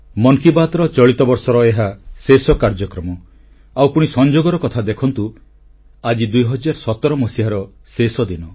ମନ୍ କି ବାତ୍ର ଚଳିତ ବର୍ଷର ଏହା ଶେଷ କାର୍ଯ୍ୟକ୍ରମ ଆଉ ପୁଣି ସଂଯୋଗର କଥା ଦେଖନ୍ତୁ ଆଜି 2017 ମସିହାର ଶେଷଦିନ